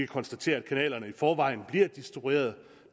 konstatere at kanalerne i forvejen bliver distribueret og